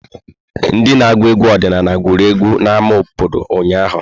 Ndị na agụ egwu ọdịnala gụrụ egwu n'ámá obodo ụnyahụ.